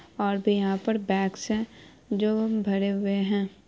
और भी यहां पे बैग्स है जो भरे हुए है ।